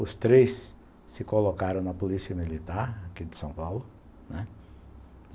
Os três se colocaram na Polícia Militar aqui de São Paulo, né.